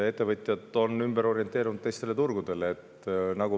Ettevõtjad on ümber orienteerunud teistele turgudele.